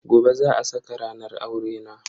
Gobe za a saka ranar aurena.